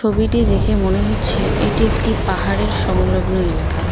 ছবিটি দেখে মনে হচ্ছে এটি একটি পাহাড়ের সংলগ্ন এলাকা।